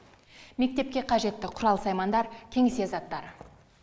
мектепке қажетті құрал саймандар кеңсе заттары